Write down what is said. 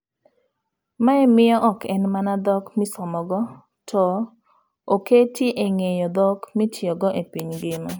Mae miyo ok en mana dhok misomogo to oketi eng'eyo dhok mitiyogo e piny ngima.